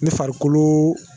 Ni farikolo